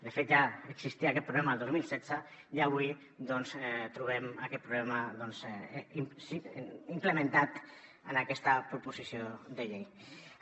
de fet ja existia aquest problema el dos mil setze i avui doncs trobem aquest problema implementat en aquesta proposició de llei